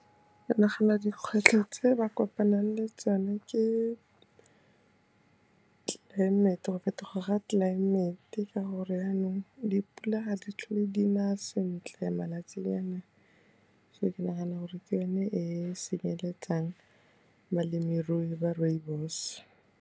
Ke nagana dikgwetlho tse ba kopanang le tsone ke tlelaemete, go fetoga ga tlelaemete ka gore janong dipula ga di tlhole di na sentle malatsinyana a, so ke nagana gore ke yone e senyeletsang balemirui ba rooibos.